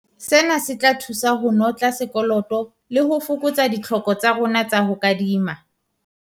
Sena se tla thusa ho notla sekoloto le ho fokotsa ditlhoko tsa rona tsa ho kadima.